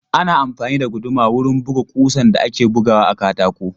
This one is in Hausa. Ana amfani da guduma wurin buga ƙusan da ake bugawa a katako.